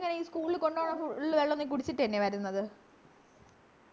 ഈ school ലു കൊണ്ടുപോണ full വെള്ളം നീ കുടിച്ചിട്ട് എന്നയ വരുന്നത്